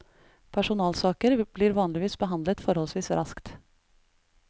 Personalsaker blir vanligvis behandlet forholdsvis raskt.